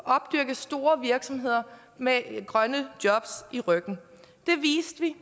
opdyrket store virksomheder med grønne jobs ryggen det viste vi